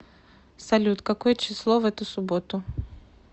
салют какое число в эту субботу